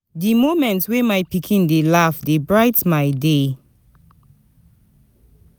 Di moment wey my pikin dey laugh dey bright my day.